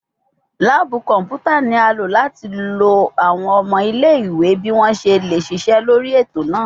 Laabu kọnputa ni a lo lati lo awọn ọmọ ile-iwe bi wọn ṣe le ṣiṣẹ lori eto naa